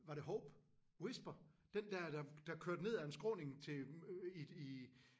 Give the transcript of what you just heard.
Var det Hope? Whisper? Den der der kørte ned af en skråning til øh i i